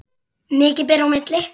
Mikið ber á milli.